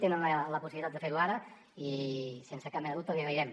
tenen la possibilitat de fer ho ara i sense cap mena de dubte els hi agrairem